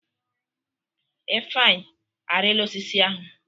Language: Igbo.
Ifeanyi, arila osisi ahụ!